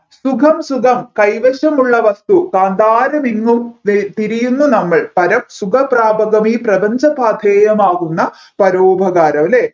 സുഖം സുഖം കൈവശമുള്ള വസ്തു കാന്തരമിങ്ങും ദേ തിരിയുന്ന നമ്മൾ പരം സുഖപ്രാപമി പ്രപഞ്ചപാഥേയമാകുന്ന പരോപകാരം അല്ലെ